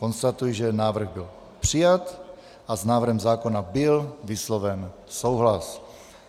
Konstatuji, že návrh byl přijat a s návrhem zákona byl vysloven souhlas.